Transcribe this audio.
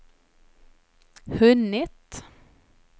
hunnit